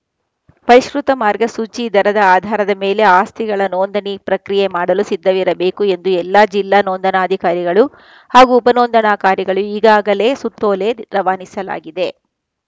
ಪರಿಷ್ಕೃತ ಮಾರ್ಗಸೂಚಿ ದರದ ಆಧಾರದ ಮೇಲೆ ಆಸ್ತಿಗಳ ನೋಂದಣಿ ಪ್ರಕ್ರಿಯೆ ಮಾಡಲು ಸಿದ್ಧವಿರಬೇಕು ಎಂದು ಎಲ್ಲಾ ಜಿಲ್ಲಾ ನೋಂದಣಾಧಿಕಾರಿಗಳು ಹಾಗೂ ಉಪ ನೋಂದಣಾಕಾರಿಗಳು ಈಗಾಗಲೇ ಸುತ್ತೋಲೆ ರವಾನಿಸಲಾಗಿದೆ